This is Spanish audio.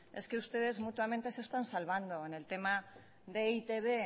es que ustedes mutuamente se están salvando en el tema de e i te be